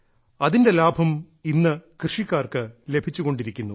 അതിന്റെ ലാഭം ഇന്ന് കൃഷിക്കാർക്ക് ലഭിച്ചു കൊണ്ടിരിക്കുന്നു